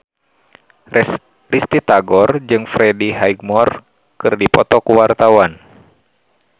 Risty Tagor jeung Freddie Highmore keur dipoto ku wartawan